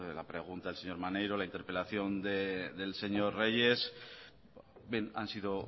la pregunta del señor maneiro la interpelación del señor reyes bien han sido